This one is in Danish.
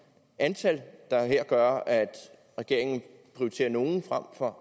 antal der her gør at regeringen prioriterer nogle frem for